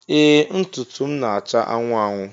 Ee ntụtụ m na-acha anwụ anwụ